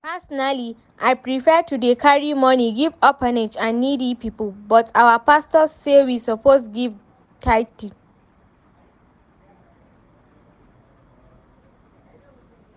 Personally I prefer to dey carry money give orphanage and needy people but our pastor say we suppose give tithe